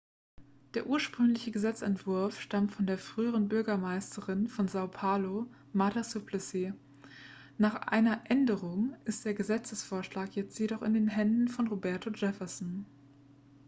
der ursprüngliche gesetzentwurf stammt von der früheren bürgermeisterin von são paulo marta suplicy. nach einer änderung ist der gesetzesvorschlag jetzt in den händen von roberto jefferson